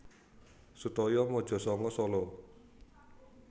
Sutoyo Mojosanga Solo